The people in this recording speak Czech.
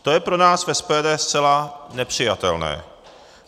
To je pro nás v SPD zcela nepřijatelné.